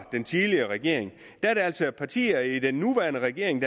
den tidligere regering at der altså er partier i den nuværende regering